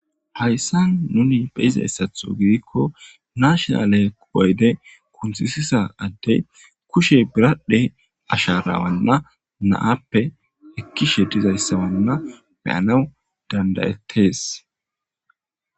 Hayssan nuni be'zayssatho gidikko nashinale ayde kunthisiza adey kushe biradhe asharana na'appe ekishe dizayssana be'anaw danda'etees.